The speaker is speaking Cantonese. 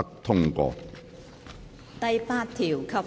第8條及附表。